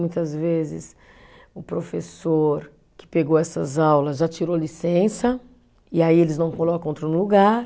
Muitas vezes o professor que pegou essas aulas já tirou licença e aí eles não colocam outro no lugar.